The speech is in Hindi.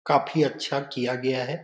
काफी अच्छा किया गया है।